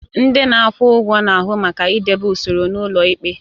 Ndị na-akwụ ụgwọ na-ahụ maka idebe usoro n'ụlọ ikpe.